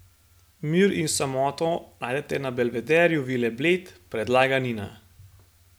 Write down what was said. Mir in samoto najdete na Belvederju Vile Bled, predlaga Nina.